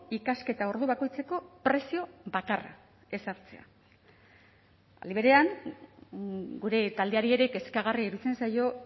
ikasketa ordu bakoitzeko prezio bakarra ezartzea aldi berean gure taldeari ere kezkagarria iruditzen zaio